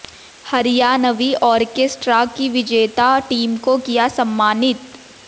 Haryanvi orchestra की विजेता team को किया सम्मानित